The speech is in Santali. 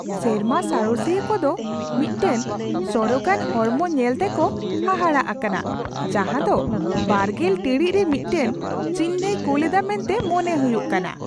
ᱥᱮᱨᱢᱟ ᱥᱟᱬᱮᱥᱤᱭᱟᱹ ᱠᱚ ᱫᱚ ᱢᱤᱫᱴᱟᱝ ᱥᱚᱨᱚᱜᱟᱱ ᱦᱚᱲᱢᱚ ᱧᱮᱞ ᱛᱮᱠᱚ ᱦᱟᱦᱟᱲᱟᱜ ᱟᱠᱟᱱᱟ ᱡᱟᱦᱟᱸ ᱫᱚ ᱒᱐ ᱴᱤᱲᱤᱡ ᱨᱮ ᱢᱤᱫᱴᱟᱝ ᱪᱤᱱᱦᱟᱹᱭ ᱠᱩᱞ ᱮᱫᱟ ᱢᱮᱱᱛᱮ ᱢᱚᱱᱮ ᱦᱩᱭᱩᱜ ᱠᱟᱱᱟ ᱾